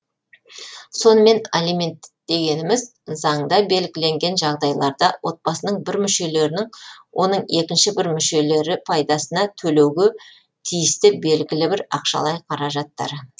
сонымен алименттер дегеніміз заңда белгіленген жағдайларда отбасының бір мүшелерінің оның екінші бір мүшелері пайдасына төлеуге тиісті белгілі бір ақшалай қаражаттары